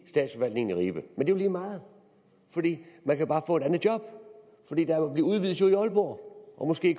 i statsforvaltningen i ribe men det lige meget fordi man kan bare få et andet job fordi der udvides jo i aalborg og måske i